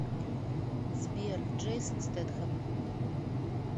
сбер джейсон стетхэм